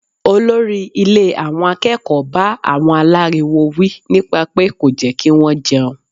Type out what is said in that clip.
Olórí ilé àwọn akẹ́kọ̀ọ́ bá àwọn aláriwo wí nípa pé kò jẹ́ kí wọ́n jẹun.